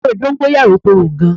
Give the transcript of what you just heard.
Ewé dọ́ńgóráyò korò gan.